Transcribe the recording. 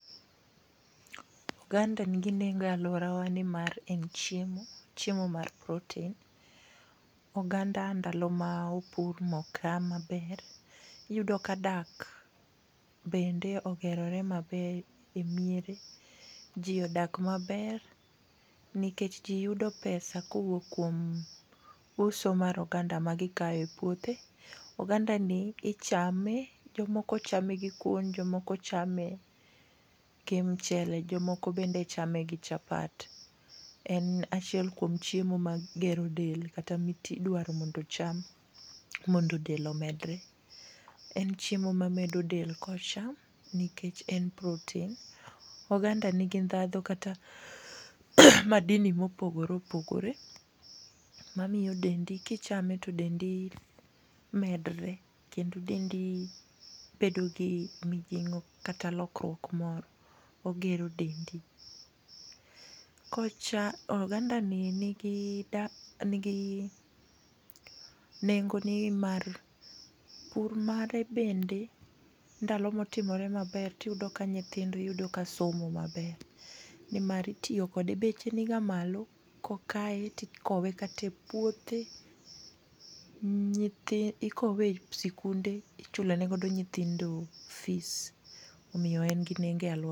Oganda ni gi nengo e aluora wa ni mar en chiemo , chiemo mar protein. Oganda ndalo ma opur ma oka ma ber iyudo ka dak bende ogerore maber emiere ji odak maber nikech ji yudo pesa ka owuok kuom uso mar oganda ma gi kayo e puothe. Oganda ni ichame, jo moko chame gi kwon, jo moko be chame gi mchele jo moko bende chame gi chapat, en achiel kuom chiemo ma gero del kata mi idwaro mondo ocham mondo del omedre. En chiemo ma medo del ka ocham nikech en protein. Oganda ni gi dhandho kata madini ma opogore opogore ma miyo dendi ki ichame to dendi medore kendo dendi bedo gi mijing'o kata lokruok moro, ogero dendi. Oganda ni ni gi nengo ni mar pur mare bende ndalo ma otimore ma ber to iyudo ka nyithindo iyudo ka somo ma ber. nimar itiyo kode, beche ni ga malo ko okayo ti ikawe kata e puothe nyithindo ikowe e skunde ichulo ne go nyithindo fees omiyo en gi nengo e aluora.